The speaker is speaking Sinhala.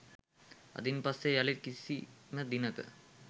අදින් පස්සේ යළිත් කිසිම දිනක